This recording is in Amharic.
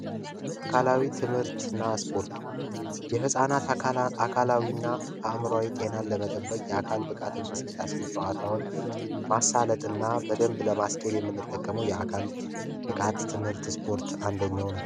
አካላዊ ትምህርትና ስፖርት የህፃናት አካላዊና አእምሮአዊ ጤናን ለመጠበቅ የአካል ብቃት እንቅስቃሴ ጨዋታውን ለማሳለጥና ለማስኬድ የሚጠቀሙት የአካል ብቃት ትምህርት ስፖርት አንደኛው ነው።